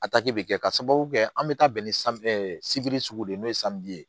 A taki bɛ kɛ ka sababu kɛ an bɛ taa bɛn ni sugu de ye n'o ye ye